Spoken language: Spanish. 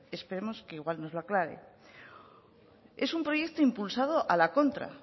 esperemos que igual nos lo aclare es un proyecto impulsado a la contra